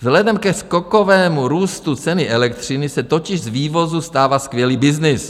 Vzhledem ke skokovému růstu ceny elektřiny se totiž z vývozu stává skvělý byznys.